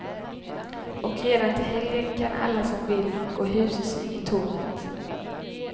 Och redan till helgen kan alla som vill gå husesyn i tornet.